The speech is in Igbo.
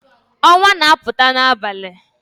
Onwa na-aputa n'abali